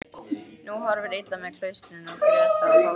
Nú horfir illa með klaustrin griðastað fátækra.